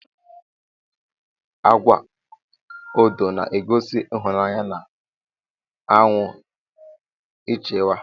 Agwa odo na egosi ihụnaya na anwụ ichawa.